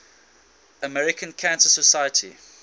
american cancer society